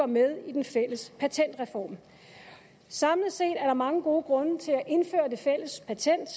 med i den fælles patentreform samlet set er der mange gode grunde til at indføre det fælles patent